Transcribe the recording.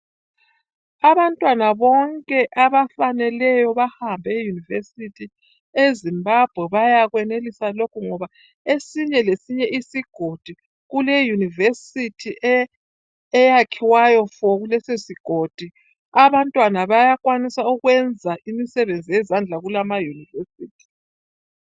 Abantwana bonke abafaneleyo bahambe e University e Zimbabwe bayakwenelisa lokhu ngoba esinye lesinye isigodi kule university eyakhiwayo fo kulesisogodi abantwana bayakwanisa ukwenza imisebenzi yezandla kula ama university